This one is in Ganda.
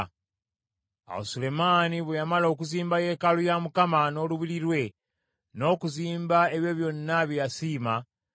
Awo Sulemaani bwe yamala okuzimba yeekaalu ya Mukama n’olubiri lwe, n’okuzimba ebyo byonna bye yasiima,